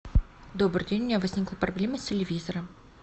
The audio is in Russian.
добрый день у меня возникла проблема с телевизором